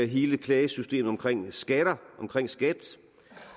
hele klagesystemet omkring skat omkring skat